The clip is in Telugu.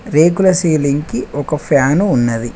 రేకుల సీలింగ్ కి ఒక ఫ్యాన్ ఉన్నది